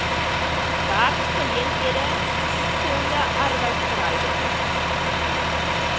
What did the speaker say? werksgeleenthede gesonde arbeidsverhoudinge